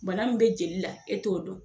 Bana min be jeli la e t'o dɔn